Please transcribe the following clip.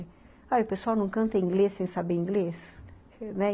Ah, e o pessoal não canta inglês sem saber inglês, né?